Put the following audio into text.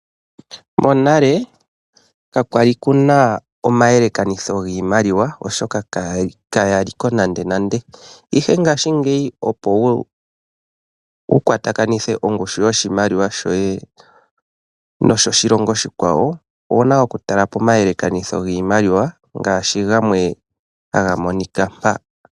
Monale ka kwali kuna omayelekanitho giimaliwa oshoka kaya li ko nande nande, ihe ngaashingeyi opo woo wu kwata kanithe ongushu yoshimaliwa shoye noyoshilongo oshikwawo owuna oku tala pomayelekanitho gwiimaliwa.